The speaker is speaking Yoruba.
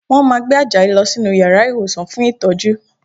Wọ́n máa gbé Àjàyí lọ sínú yàrá ìwòsàn fún ìtọ́jú